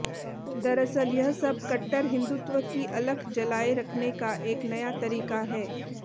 दरअसल यह सब कट्टर हिंदुत्व की अलख जलाये रखने का एक नया तरीका है